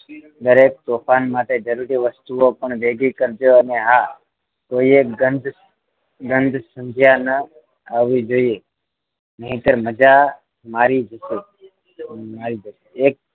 દરેક તોફાન માટે જરૂરી વસ્તુઓ પણ ભેગી કરજો અને હા કોઈએ ગંધ ગંધ સંધ્યા ન આવી જોઈએ નહીંતર મજા મારી જશે મારી જશે